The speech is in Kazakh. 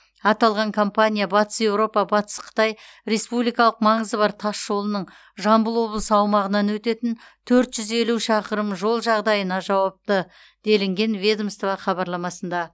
аталған компания батыс еуропа батыс қытай республикалық маңызы бар тас жолының жамбыл облысы аумағынан өтетін төрт жүз елу шақырым жол жағдайына жауапты делінген ведомство хабарламасында